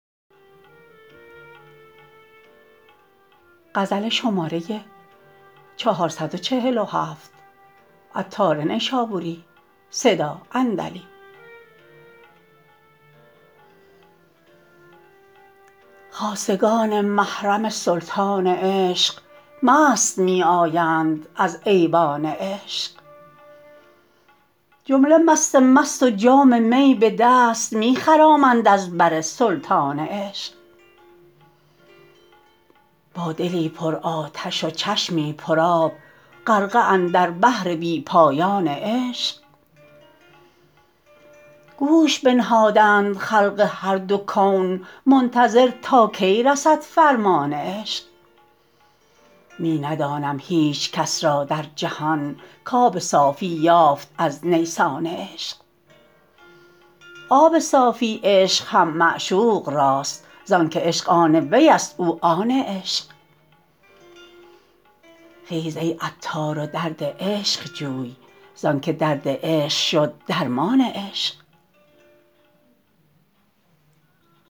خاصگان محرم سلطان عشق مست می آیند از ایوان عشق جمله مست مست و جام می به دست می خرامند از بر سلطان عشق با دلی پر آتش و چشمی پر آب غرقه اندر بحر بی پایان عشق گوش بنهادند خلق هر دو کون منتظر تا کی رسد فرمان عشق می ندانم هیچکس را در جهان کاب صافی یافت از نیسان عشق آب صافی عشق هم معشوق راست زانکه عشق آن وی است او آن عشق خیز ای عطار و درد عشق جوی زانکه درد عشق شد درمان عشق